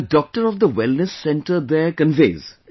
The doctor of the Wellness Center there conveys